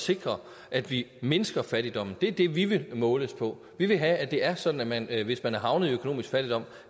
sikre at vi mindsker fattigdommen det er det vi vil måles på vi vil have at det er sådan at hvis man er havnet i økonomisk fattigdom